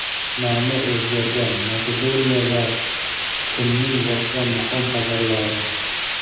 nomi o‘zgargan Makedoniya va kunning boshqa muhim xabarlari.